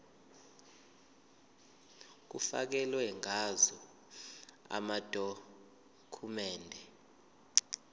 kufakelwe ngazo amadokhumende